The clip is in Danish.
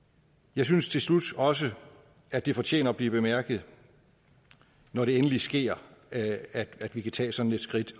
jeg synes til slut også at det fortjener at blive bemærket når det endelig sker at at vi kan tage sådan et skridt